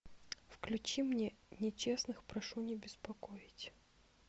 включи мне нечестных прошу не беспокоить